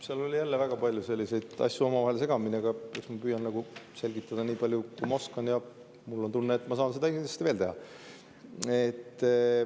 Seal oli jälle väga palju asju omavahel segamini, aga eks ma püüan selgitada niipalju, kui ma oskan, ja mul on tunne, et ma saan seda kindlasti veel teha.